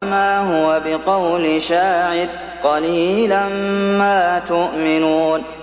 وَمَا هُوَ بِقَوْلِ شَاعِرٍ ۚ قَلِيلًا مَّا تُؤْمِنُونَ